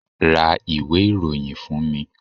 ra ìwé iroyín fún mí